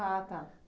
Ah, tá.